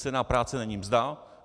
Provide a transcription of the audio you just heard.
Cena práce není mzda.